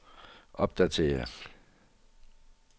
opdatér